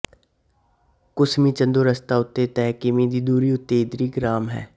ਕੁਸਮੀ ਚਾਂਦੋ ਰਸਤਾ ਉੱਤੇ ਤੀਹ ਕਿਮੀ ਦੀ ਦੁਰੀ ਉੱਤੇ ਈਦਰੀ ਗਰਾਮ ਹੈ